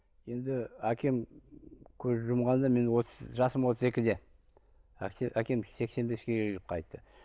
енді әкем көз жұмғанда мен отыз жасым отыз екіде әкем сексен беске келіп қайтты